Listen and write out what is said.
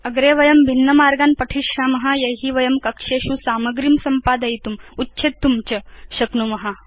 अग्रे वयं भिन्न मार्गान् पठिष्याम यै वयं कक्षेषु सामग्रीं संपादयितुम् उच्छेत्तुं च शक्नुम